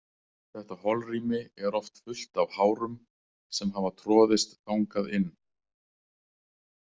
Þetta holrými er oft fullt af hárum sem hafa troðist þangað inn.